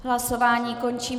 Hlasování končím.